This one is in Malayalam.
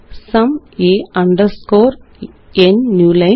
sum a underscore n new line